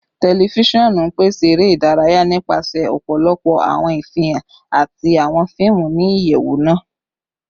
Tẹlifisiọnu n pese ere idaraya nipasẹ ọpọlọpọ awọn ifihan ati awọn fiimu ni iyẹwu naa